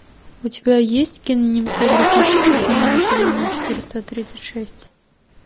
у тебя есть кинематографический фильм население четыреста тридцать шесть